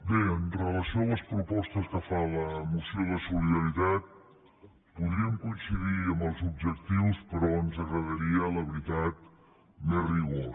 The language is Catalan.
bé amb relació a les propostes que fa la moció de solidaritat podríem coincidir en els objectius però ens agradaria la veritat més rigor